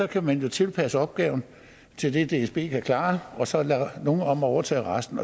kan man jo tilpasse opgaven til det dsb kan klare og så lade nogle andre om at overtage resten